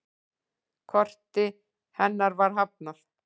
Korti hennar var hafnað.